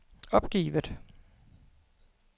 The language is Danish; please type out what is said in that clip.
opgivet